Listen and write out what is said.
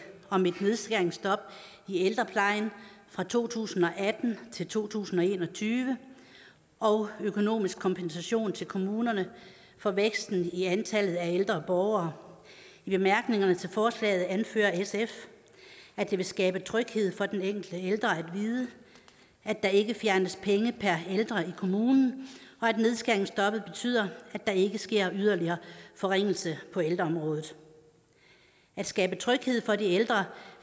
om et nedskæringsstop i ældreplejen fra to tusind og atten til to tusind og en og tyve og økonomisk kompensation til kommunerne for væksten i antallet af ældre borgere i bemærkningerne til forslaget anfører sf at det vil skabe tryghed for den enkelte ældre at vide at der ikke fjernes penge per ældre i kommunen og at nedskæringsstoppet betyder at der ikke sker yderligere forringelser på ældreområdet at skabe tryghed for de ældre